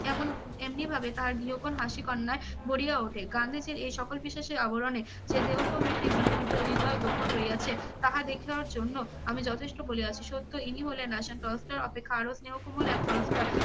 কেমন এমনি ভাবে তাহার গৃহকোণ হাসি কন্যায় ভরিয়া ওঠে। গান্ধীজীর এই সকল বিশ্বাসের আবরণে যে হৃদয় গোপন রইছে তাহা দেখিয়ার জন্য আমি যথেষ্ট বলিয়াছি। সত্য ইনি হলেন রাশিয়ান টলস্টয় অপেক্ষা আরও স্নেহ কোমল এক টলস্টয়,